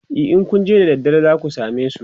e in Kun je da daddare zaku samesu